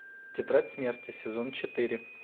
тетрадь смерти сезон четыре